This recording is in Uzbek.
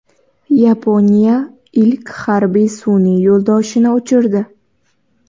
Yaponiya ilk harbiy sun’iy yo‘ldoshini uchirdi.